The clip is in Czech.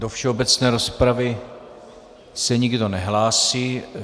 Do všeobecné rozpravy se nikdo nehlásí.